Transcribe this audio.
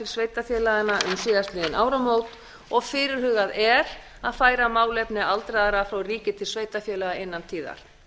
sveitarfélaganna um síðastliðin áramót og fyrirhugað er að færa málefni aldraðra frá ríki til sveitarfélaga innan tíðar